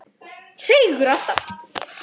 Seigur alltaf.